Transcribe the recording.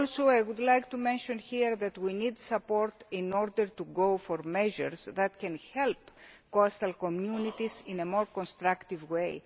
target. I would also like to mention here that we need support in order to go for measures that can help coastal communities in a more constructive